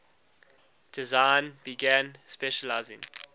design began specializing